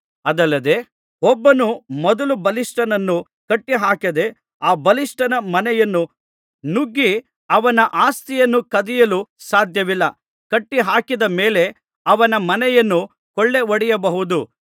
ಅದಲ್ಲದೆ ಒಬ್ಬನು ಮೊದಲು ಬಲಿಷ್ಠನನ್ನು ಕಟ್ಟಿಹಾಕದೆ ಆ ಬಲಿಷ್ಠನ ಮನೆಯನ್ನು ನುಗ್ಗಿ ಅವನ ಆಸ್ತಿಯನ್ನು ಕದಿಯಲು ಸಾಧ್ಯವಿಲ್ಲ ಕಟ್ಟಿಹಾಕಿದ ಮೇಲೆ ಅವನ ಮನೆಯನ್ನು ಕೊಳ್ಳೆಹೊಡೆಯಬಹುದು